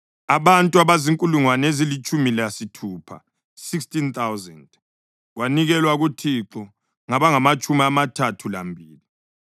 abantu abazinkulungwane ezilitshumi lasithupha (16,000), kwanikelwa kuThixo ngabangamatshumi amathathu lambili.